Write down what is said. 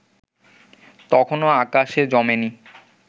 তখনো আকাশে জমে নি